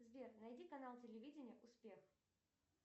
сбер найди канал телевидения успех